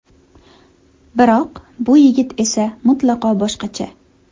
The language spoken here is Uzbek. Biroq bu yigit esa mutlaqo boshqacha.